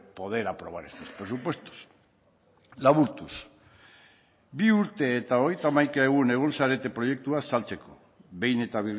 poder aprobar estos presupuestos laburtuz bi urte eta hogeita hamaika egun egon zarete proiektua saltzeko behin eta